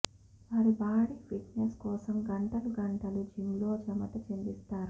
వారి body fitness కోసం గంటలు గంటలు జిమ్ లో చమట చిందిస్తారు